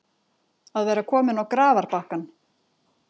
Að vera kominn á grafarbakkann